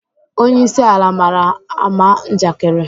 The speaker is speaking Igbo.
Onyeisi ala mara ama njakịrị